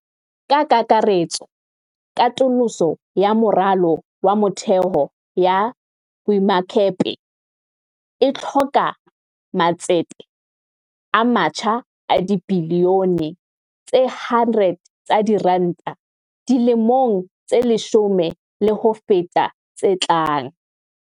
Ka kakaretso, katoloso ya moralo wa motheo ya boemakepe e hloka matsete a matjha a dibiliyone tse 100 tsa diranta dilemong tse leshome le ho feta tse tlang.